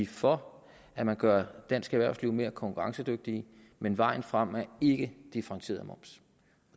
for at man gør dansk erhvervsliv mere konkurrencedygtigt men vejen frem er ikke differentieret moms